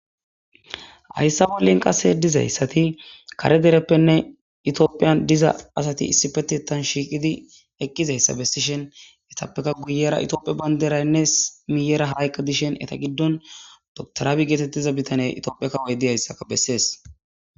hayssa bollin qase dizayssati kare dereppenne etoophiyan diza asati issifetitan shiiqidi eqqizayssa bessishhen etappeka guyera etoopie banderaynnes miyera haykka dishen eta giddon dotoraabi geetettiza bitane etoophi kawoy diyayssaka bessees